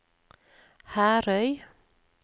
Herøy